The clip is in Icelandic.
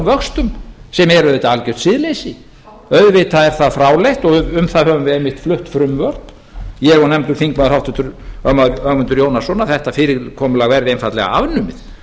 vöxtum sem er auðvitað algjört siðleysi auðvitað er það fráleitt og um það höfum við einmitt flutt frumvörp ég og nefndur þingmaður háttvirtur ögmundur jónasson að þetta fyrirkomulag veðri einfaldlega afnumið